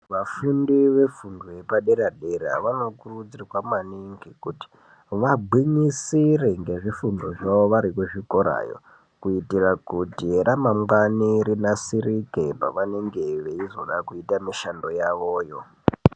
Vafundi vefundo yepadera dera vanokurudzirwa maningi kuti vagwinyisire ngezvifundo zvavo vari kuchikorayo kuitira kuti ramangwani rinasirike pavanenge veizoda kuita mishando yavoyo.